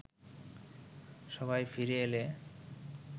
সভায় ফিরে এলে